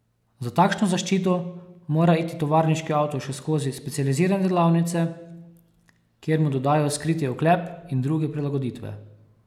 Za takšno zaščito mora iti tovarniški avto še skozi specializirane delavnice, kjer mu dodajo skriti oklep in druge prilagoditve.